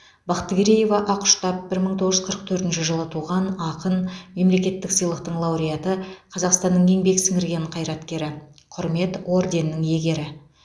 бақтыгереева ақұштап бір мың тоғыз жүз қырық төртінші жылы туған ақын мемлекеттік сыйлықтың лауреаты қазақстанның еңбек сіңірген қайраткері құрмет орденінің иегері